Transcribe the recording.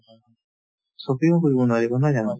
shopping ও কৰিব নোৱাৰিবা নহয় জানো